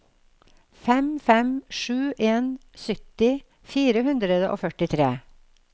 fem fem sju en sytti fire hundre og førtitre